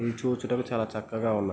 ఇది చూచుటకు చాలా చక్కగా ఉన్నా --